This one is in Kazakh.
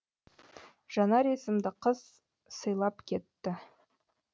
жанар есімді қыз сыйлап кетті